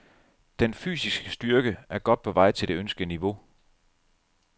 Den fysiske styrke er godt på vej til det ønskede niveau.